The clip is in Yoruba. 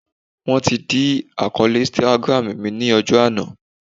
Wọ́n ti dí àkọọ́lẹ̀ Instagram mi lọ́jọ́ àná